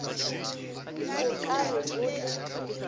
o ka re o le